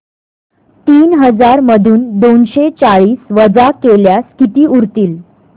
तीन हजार मधून दोनशे चाळीस वजा केल्यास किती उरतील